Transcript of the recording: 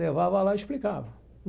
Levava lá e explicava.